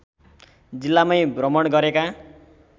जिल्लामै भ्रमण गरेका